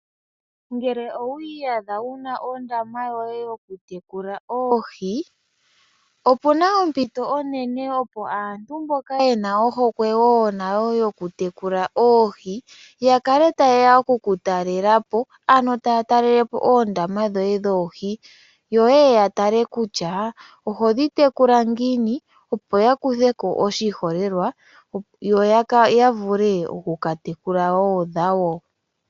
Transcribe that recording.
Ngele owiiyadha wu na ondama yoye yoku tekula oohi, opuna ompito onene opo aantu mboka ye na ohokwe woo nayo yo ku tekula oohi, ya kale ta ye ya oku kutalelapo ano taa takelele po oondama dhoye dhoohi. Yo ye ye ya tale kutya oho dhi tekula ngiini, opo ya kuthe ko oshiholelwa, yo ya vule oku ka tekula woo dhawo.